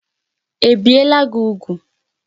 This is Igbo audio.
Ebiela gị úgwù?